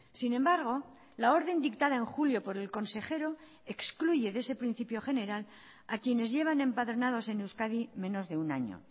sin embargo la orden dictada en julio por el consejero excluye de ese principio general a quienes llevan empadronados en euskadi menos de un año